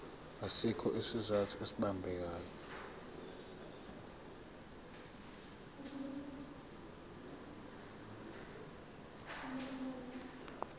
asikho isizathu esibambekayo